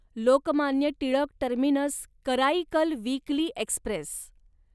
Lokmanya Tilak terminus Karaikal weekly Express